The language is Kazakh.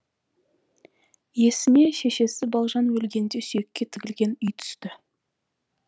есіне шешесі балжан өлгенде сүйекке тігілген үй түсті